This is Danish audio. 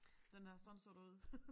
Den her sådan så der ud